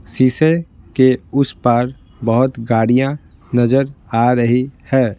शीशे के उस पार बहुत गाड़ियां नजर आ रही है।